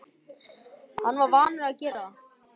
Hann var vanur að gera það.